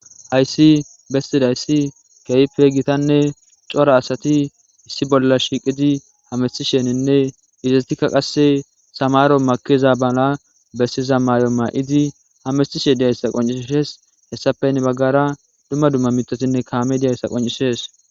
hayssi bestidayssi keyipe gitanne cora asati issi bolla shiiqidi hamistisheninne izazetikka qasse samaro makiza bala bessiza may7o maa7idi hamestishe diyayssa qoncishees hessape nebaggara dumma dumma mitatinne kaame diyayssa qoncisees.